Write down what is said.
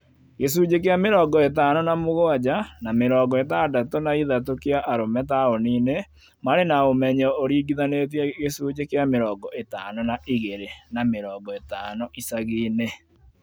Gĩcunjĩ kĩa mĩrongo ĩtano na mũgwanja na mĩrongo ĩtandatũ na ithatu kĩa arũme taũni ini marĩ na ũmenyo ũringithanĩtie gĩcunji kia mĩrongo ĩtano na igĩrĩ na mĩrongo ĩtano icagi-inĩ